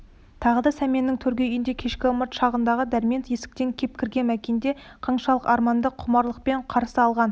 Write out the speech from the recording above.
тағы да сәменнің төргі үйінде кешкі ымырт шағында дәрмен есіктен кеп кірген мәкенді қаншалық арманды құмарлықпен қарсы алғанын